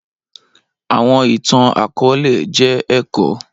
Awọn itan-akọọlẹ jẹ ẹkọ